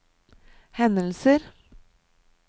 hendelser